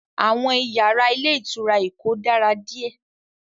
Àwọn iyàrá ilé ìtura Èkó dára díè